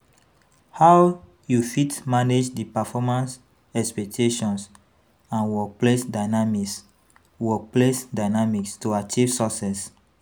How you fit manage di performance expectations and workplace dynamice workplace dynamice to achieve success?